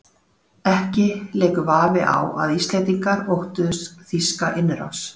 Ekki leikur vafi á að Íslendingar óttuðust þýska innrás.